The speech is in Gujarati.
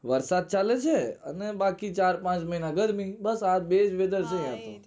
વરસાદ ચાલે છે ને બાકી ચાર પાંચ મહિના ગરમી બસ આ બેજ weather છે